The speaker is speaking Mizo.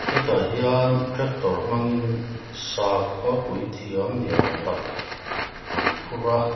hetah hian tractor hmangin sakhaw puithiam ni âwm tak an phur a.